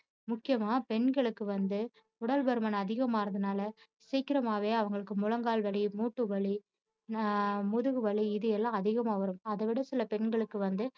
முக்கியமா பெண்களுக்கு வந்து உடல்பருமன் அதிகமாகுறதுனால சீக்கிரமாவே அவங்களுக்கு முழங்கால் வலி மூட்டு வலி ஆஹ் முதுகுவலி இது எல்லாம் அதிகமா வரும் அதைவிட சில பெண்களுக்கு வந்து